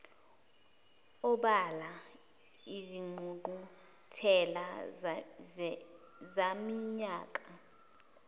obala izingqungquthela zaminyaka